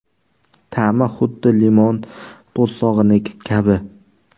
Ta’mi huddi limon po‘stlog‘iniki kabi.